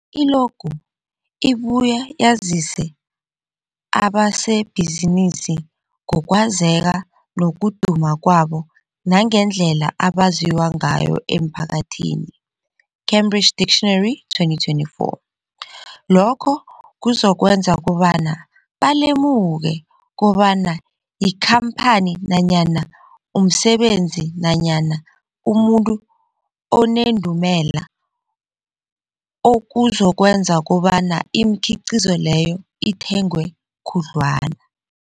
I-logo ibuye yazise abasebenzisi ngokwazeka nokuduma kwabo nangendlela abaziwa ngayo emphakathini, Cambridge Dictionary 2024. Lokho kuzokwenza kobana balemuke kobana yikhamphani nanyana umsebenzi nanyana umuntu onendumela, okuzokwenza kobana imikhiqhizo leyo ithengwe khudlwana.